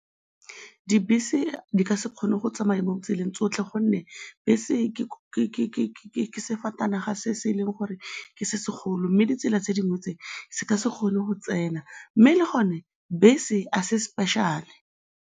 Dibese di ka se kgone go tsamaya mo tseleng tsotlhe gonne bese ke sefatanaga se se leng gore ke se se golo mme ditsela tse dingwe tse, se ka se kgone go tsena, mme le gone, bese ga se special-e.